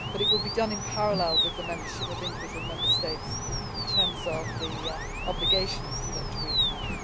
But it will be done in parallel with the membership of the individual Member States in terms of the obligations that we have.